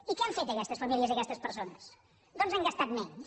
i què han fet aquestes famílies i aquestes persones doncs han gastat menys